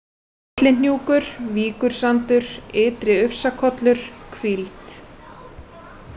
Litlihnjúkur, Víkursandur, Ytri-Ufsakollur, Hvíld